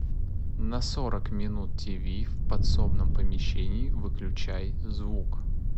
на сорок минут тиви в подсобном помещении выключай звук